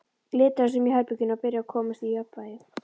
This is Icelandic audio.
Litaðist um í herberginu og byrjaði að komast í jafnvægi.